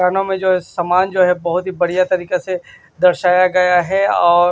में जो सामान जो है बहुत ही बढ़िया तरीके से दर्शाया गया है और--